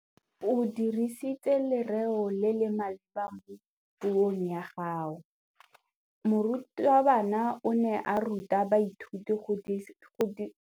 O dirisitse lerêo le le maleba mo puông ya gagwe. Morutabana o ne a ruta baithuti go dirisa lêrêôbotlhôkwa mo puong.